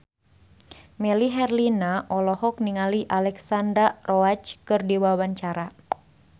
Melly Herlina olohok ningali Alexandra Roach keur diwawancara